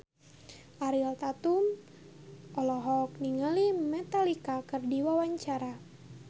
Ariel Tatum olohok ningali Metallica keur diwawancara